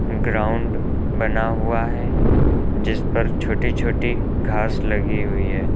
Ground बना हुआ है जिस पर छोटी छोटी घास लगी हुई है।